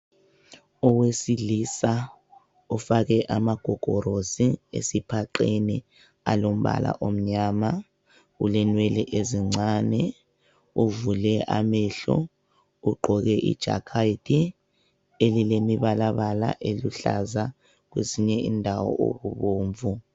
Owesilisa, ufake amagogorosi esiphaqeni alombala omnyama, ulenwele ezincane uvule amahlo ugqoke ijakethi elilemibalabala eluhlaza kwesinye indawo okubomvu.